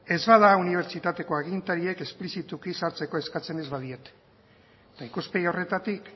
ez bada unibertsitateko agintariek esplizituki sartzeko eskatzen ez badiete eta ikuspegi horretatik